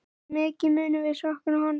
Mikið munum við sakna hans.